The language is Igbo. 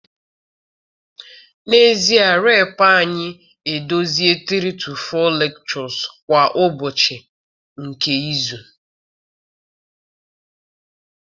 N'ezie reply anyị idozi 3-4 lectures kwa ụbọchị nke izu.